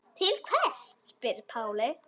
Til hvers spyr Palli.